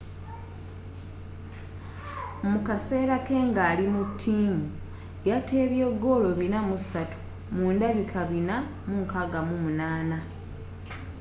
mukaseera ke ngali mu ttiimu yatebye goolo 403 mu ndabika 468